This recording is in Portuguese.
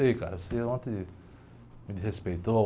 Ei, cara, você ontem me desrespeitou.